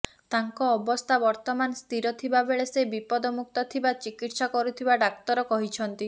ତାଙ୍କ ଅବସ୍ଥା ବର୍ତ୍ତମାନ ସ୍ଥିର ଥିବାବେଳେ ସେ ବିପଦମୁକ୍ତ ଥିବା ଚିକିତ୍ସା କରୁଥିବା ଡାକ୍ତର କହିଛନ୍ତି